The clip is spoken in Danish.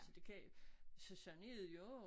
Så det kan så sådan noget jo